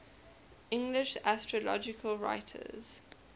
english astrological writers